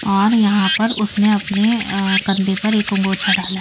और यहां पर उसने अपने कंधे पर एक अंगोछा डाला है।